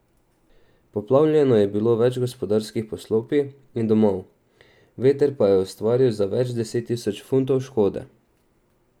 Poplavljeno je bilo več gospodarskih poslopij in domov, veter pa je ustvaril za več deset tisoč funtov škode.